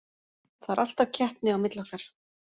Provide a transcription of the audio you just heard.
Það er alltaf keppni á milli okkar.